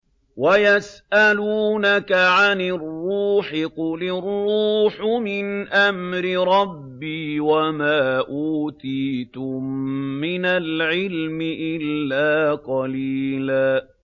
وَيَسْأَلُونَكَ عَنِ الرُّوحِ ۖ قُلِ الرُّوحُ مِنْ أَمْرِ رَبِّي وَمَا أُوتِيتُم مِّنَ الْعِلْمِ إِلَّا قَلِيلًا